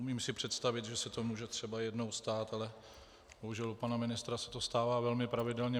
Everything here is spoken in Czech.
Umím si představit, že se to může třeba jednou stát, ale bohužel u pana ministra se to stává velmi pravidelně.